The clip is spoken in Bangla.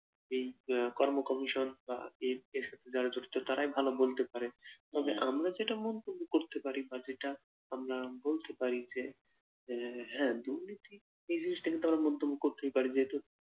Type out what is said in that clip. এই কর্ম কমিশন বা এই এর সাথে যারা জড়িত তারাই ভালো বলতে পারে, তবে আমরা যেটা মন্তব্য করতে পারি বা যেটা আমরা বলতে পারি যে আহ হ্যা দুর্নীতি এই জিনিসটা কিন্তু আমরা মন্তব্য করতেই পার যেহেতু